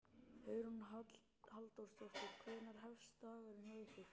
Hugrún Halldórsdóttir: Hvenær hófst dagurinn hjá ykkur?